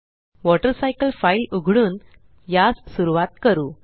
water cycle file उघडून यास सुरवात करू